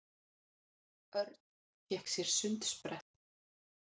Örn fékk sér sundsprett.